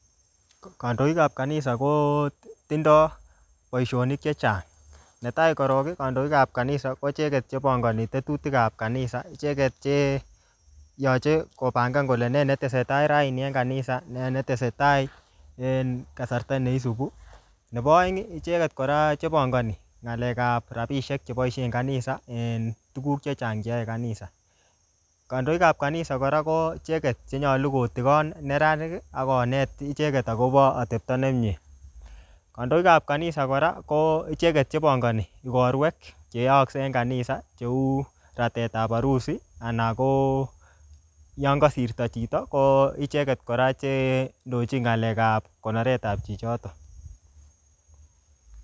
Kandoik ap kanisa ko tindoi boisonik chechang. Ne tai korok, kandoik ap kanisa, ko icheket che pangani tetutik ap kanisa. Icheket che yache kopangan kole nee netesetai raini en kanisa, nee netesetai en kasarta ne isubu. Nebo aeng, icheket kora che pangani ng'alekap rabisiek che boisien kanisa en tuguk chechang che yae kanisa. Kandoikap kanisa, kora ko icheket chenyolu kotigon neranik, akonet icheket akobo atepto ne miee. Kandoikap kanisa kora, ko icheket che pangani ikorwek che yaakse en kanisa, cheu ratetap arusi, anan ko yon kasirto chito, ko icheket kora che indochin ng'alek ap konoretap chichotok